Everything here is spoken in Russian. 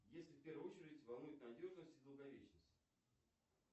если в первую очередь волнует надежность и долговечность